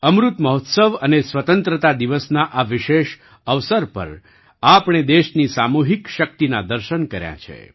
અમૃત મહોત્સવ અને સ્વતંત્રતા દિવસના આ વિશેષ અવસર પર આપણે દેશની સામૂહિક શક્તિના દર્શન કર્યા છે